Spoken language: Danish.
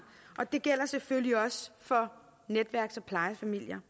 og det gælder selvfølgelig også for netværks og plejefamilier